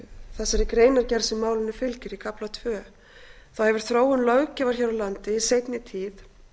þessari greinargerð sem málinu fylgir í kafla tvö hefur þróun löggjafar hér á landi í seinni tíð